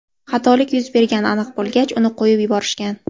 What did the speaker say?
Xatolik yuz bergani aniq bo‘lgach, uni qo‘yib yuborishgan.